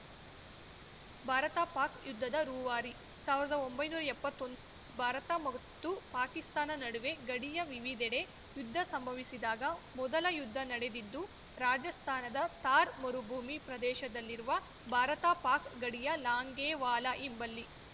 ಭಾರತಪಾಕ್‌ ಯುದ್ಧದ ರೂವಾರಿ ಸಾವ್ರ್ದೊಂಬೈ ನೂರಾ ಎಪ್ಪತೊಂದ್ ಭಾರತ ಮತ್ತು ಪಾಕಿಸ್ತಾನ ನಡುವೆ ಗಡಿಯ ವಿವಿಧೆಡೆ ಯುದ್ಧ ಸಂಭವಿಸಿದಾಗ ಮೊದಲ ಯುದ್ಧ ನಡೆದಿದ್ದು ರಾಜಸ್ಥಾನದ ಥಾರ್ ಮರುಭೂಮಿ ಪ್ರದೇಶದಲ್ಲಿರುವ ಭಾರತಪಾಕ್‌ ಗಡಿಯ ಲಾಂಗೇವಾಲಾ ಎಂಬಲ್ಲಿ